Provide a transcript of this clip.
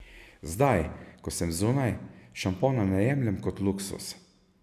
Zdaj, ko sem zunaj, šampona ne jemljem kot luksuz.